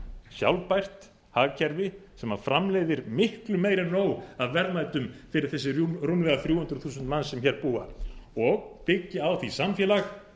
sjálfbært hagkerfi sem framleiðir miklu meira en nóg af verðmætum fyrir þessi rúmlega þrjú hundruð þúsund manns sem hér búa og byggja á því samfélag sem